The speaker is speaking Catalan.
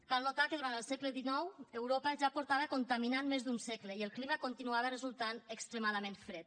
cal notar que durant el segle xix europa ja feia més d’un segle que contaminava i el clima continuava resultant extremadament fred